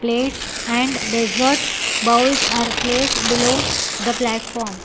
Plates and dessert bowls are placed below the platform.